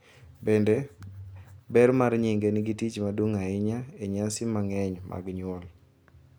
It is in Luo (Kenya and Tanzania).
Bende, ber mar nyinge nigi tich maduong’ ahinya e nyasi mang’eny mag nyuol.